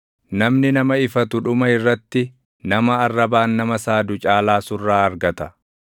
Namni nama ifatu dhuma irratti nama arrabaan nama saadu caalaa surraa argata.